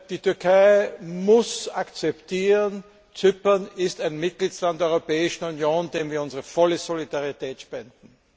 Die Türkei muss akzeptieren Zypern ist ein Mitgliedstaat der Europäischen Union, dem wir unsere volle Solidarität spenden.